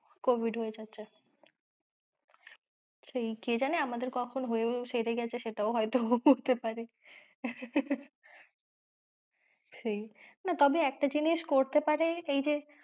Covid হয়েছে সেই কে জানে আমাদের কখন হয়েও সেরে গেছে সেটাও হয়তো হতে পারে। সেই না তবে একটা জিনিস করতে পারে এই যে,